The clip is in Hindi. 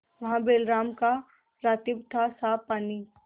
वहाँ बैलराम का रातिब थासाफ पानी